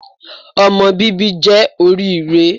Ọmọ bíbí jẹ́ oríire